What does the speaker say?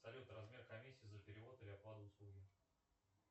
салют размер комиссии за перевод или оплату услуги